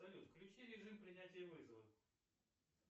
салют включи режим принятия вызова